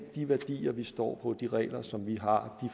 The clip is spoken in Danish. de værdier vi står på de regler som vi har og